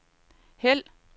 hæld